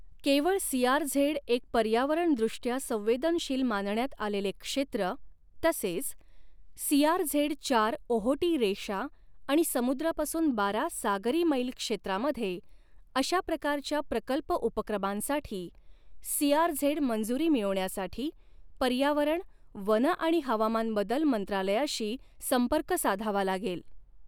केवळ सीआरझेड एक पर्यावरणदृष्टया संवेदनशील मानण्यात आलेले क्षेत्र, तसेच सीआरझेड चार ओहोटी रेषा आणि समुद्रापासून बारा सागरी मैल क्षेत्रामध्ये अशा प्रकारच्या प्रकल्प उपक्रमांसाठी सीआरझेड मंजूरी मिळवण्यासाठी पर्यावरण, वन आणि हवामान बदल मंत्रालयाशी संपर्क साधावा लागेल.